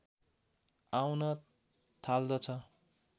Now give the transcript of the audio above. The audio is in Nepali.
आउन थाल्दछ